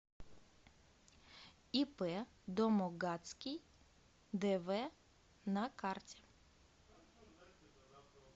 ип домогацкий дв на карте